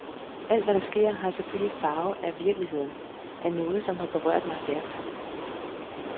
Alt hvad der sker, har selvfølgelig farve af virkeligheden, af noget som har berørt mig stærkt.